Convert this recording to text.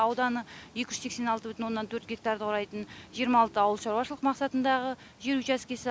ауданы екі жүз сексен алты бүтін оннан төрт гектарды құрайтын жиырма алты ауыл шаруашылық мақсатындағы жер учаскесі